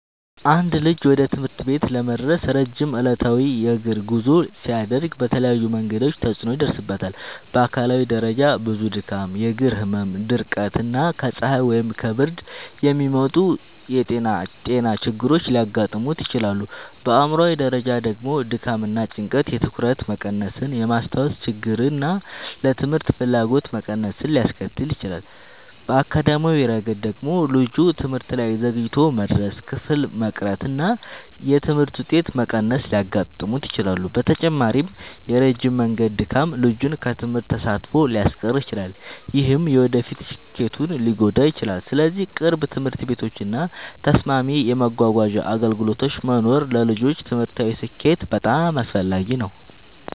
አንድ ልጅ ወደ ትምህርት ቤት ለመድረስ ረጅም ዕለታዊ የእግር ጉዞ ሲያደርግ በተለያዩ መንገዶች ተጽዕኖ ይደርስበታል። በአካላዊ ደረጃ ብዙ ድካም፣ የእግር ህመም፣ ድርቀት እና ከፀሐይ ወይም ከብርድ የሚመጡ ጤና ችግሮች ሊያጋጥሙት ይችላሉ። በአእምሯዊ ደረጃ ደግሞ ድካም እና ጭንቀት የትኩረት መቀነስን፣ የማስታወስ ችግርን እና ለትምህርት ፍላጎት መቀነስን ሊያስከትል ይችላል። በአካዳሚያዊ ረገድ ደግሞ ልጁ ትምህርት ላይ ዘግይቶ መድረስ፣ ክፍል መቅረት እና የትምህርት ውጤት መቀነስ ሊያጋጥሙት ይችላሉ። በተጨማሪም የረጅም መንገድ ድካም ልጁን ከትምህርት ተሳትፎ ሊያስቀር ይችላል፣ ይህም የወደፊት ስኬቱን ሊጎዳ ይችላል። ስለዚህ ቅርብ ትምህርት ቤቶች እና ተስማሚ የመጓጓዣ አገልግሎቶች መኖር ለልጆች ትምህርታዊ ስኬት በጣም አስፈላጊ ነው።